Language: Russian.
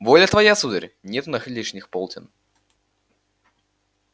воля твоя сударь нет у нас лишних полтин